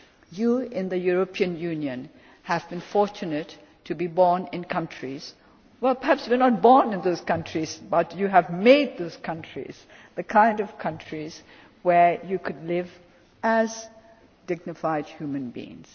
You in the European Union are fortunate to have been born in countries well perhaps you were not born in those countries, but you have made those countries the kind of countries where you could live as dignified human beings.